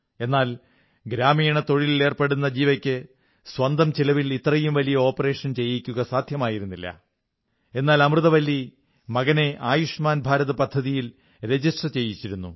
എന്നാൽ ഗ്രാമീണ തൊഴിലിലേർപ്പെടുന്ന ജീവയ്ക്ക് സ്വന്തം ചെലവിൽ ഇത്രയും വലിയ ഓപ്പറേഷൻ ചെയ്യിക്കുക സാധ്യമായിരുന്നില്ല എന്നാൽ അമൃതവല്ലി മകനെ ആയുഷ്മാൻ ഭാരത് പദ്ധതിയിൽ രജിസ്റ്റർ ചെയ്യിച്ചിരുന്നു